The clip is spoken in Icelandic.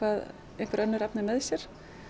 einhver önnur efni með sér